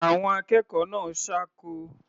Àwọn akẹ́kọ̀ọ́ náà ṣáko.